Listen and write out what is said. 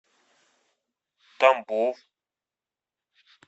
тамбов